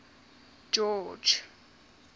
george